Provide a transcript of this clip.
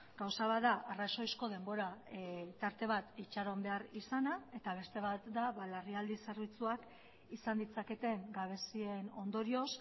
gauza bat da arrazoizko denbora tarte bat itxaron behar izana eta beste bat da larrialdi zerbitzuak izan ditzaketen gabezien ondorioz